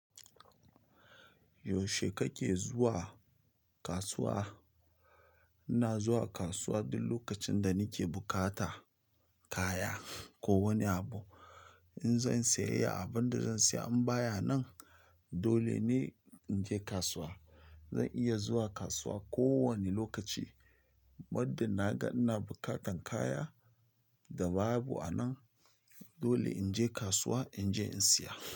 Yaushe kake zuwa kasuwa? Ina zuwa kasuwa duk lokacin da nake bukata kaya ko wani abu. In zan sayayya abin da zan saya in baya nan dole ne in je kasuwa. Zan iya zuwa kasuwa kowane lokaci, muddin na ga ina buƙatan kaya. Da babu anan, dole in je kasuwa in je in siya.